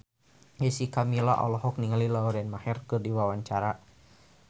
Jessica Milla olohok ningali Lauren Maher keur diwawancara